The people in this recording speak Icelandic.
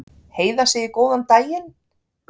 Heiða segir góðan daginn!